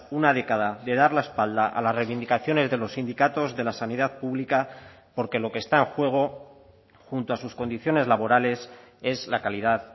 una década de dar la espalda a las reivindicaciones de los sindicatos de la sanidad pública porque lo que está en juego junto a sus condiciones laborales es la calidad